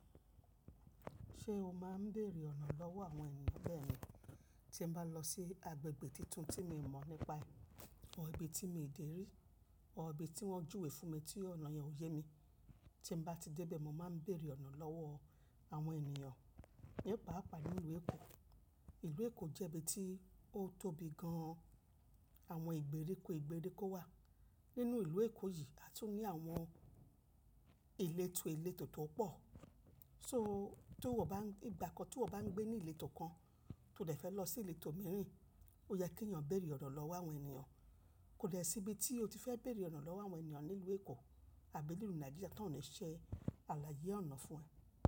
Ṣé o máa ń bèrè ọ̀nà lọ́wọ́ àwọn ènìyàn? bẹ́ẹ̀ni tí n bá lọ sí agbègbè tuntun tí mi mọ̀ nípa ẹ̀, or ibi tí mi ò dé rí, or ibi tí wọ́n júwe fún mi tí ọ̀nà yẹn ò yé mi. Tí n bá ti dé bẹ́ẹ̀ mo máa ń bèrè ọ̀nà lọ́wọ́ àwọn ènìyàn. Ní paàpá ni ìlú Èkó. Ìlú Èkó jẹ́ ibi tí ó tóbi gan-an. Àwọn ìgbèríko ìgbèríko wà nínú ìlú Èkó yìí, a tún ní àwọn ìletò ìletò tó pọ̀. So tí iwò bá n-- ìgbà kan tí iwò bá ń gbé ní ìletò kan tó dẹ̀ fẹ́ lọ sí ìletò mìíràn, ó yẹ kí èyàn béèrè ọ̀nà lọ́wọ́ àwọn ènìyàn. Kò dẹ síbi tí o ti fẹ́ bèrè ọ̀nà lọ́wọ́ àwọn ènìyàn nílùú Èkó àbí nílùú Nàìjíríà tan lè ṣe àlàyé ọ̀nà fún ẹ.